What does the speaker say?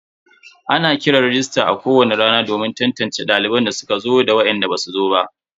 Ana kiran rajista a kowani rana domin tantance daliban da suka zo da wainda basu zo ba.